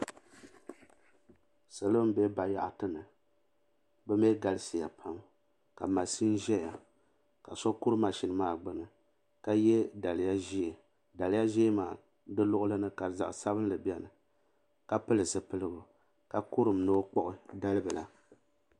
Salo m be bayaɣati ni bɛ mee galisiya pam ka maʒini zaya ka so kuri maʒini maa gbini ka ye daliya ʒee daliya ʒee maa di luɣuli ni ka zaɣa sabinli biɛni ka pili zipiligu ka kurum ni o kpuɣi dalibila.